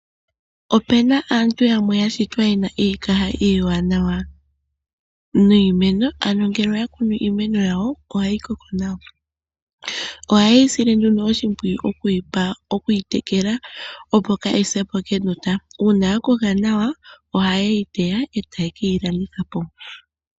Opuna aantu yamwe yashitwa yena iikaha iiwananawa niimeno, ano ngele oya kunu iimeno yawo ohayi koko nawa. Ohayeyi sile nduno oshimpwiyu okuyi tekela, uuna yakoka nawa, ohayeyi teya e tayekeyi landithapo.